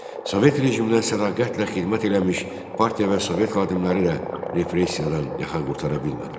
Sovet rejiminə sədaqətlə xidmət eləmiş partiya və Sovet xadimləri də repressiyadan yaxa qurtara bilmədilər.